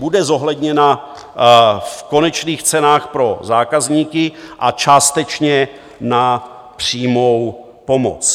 Bude zohledněna v konečných cenách pro zákazníky a částečně na přímou pomoc.